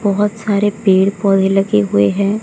बहुत सारे पेड़ पौधे लगे हुए हैं।